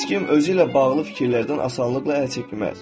Heç kim özü ilə bağlı fikirlərdən asanlıqla əl çəkməz.